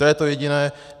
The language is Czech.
To je to jediné.